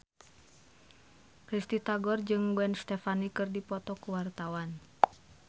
Risty Tagor jeung Gwen Stefani keur dipoto ku wartawan